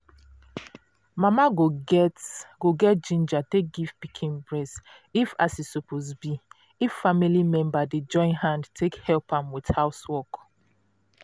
mama go get go get ginja take give pikin breast if as e suppose be if family dey join hand take help am with housework